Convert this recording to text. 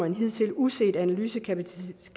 en hidtil uset analysekapacitet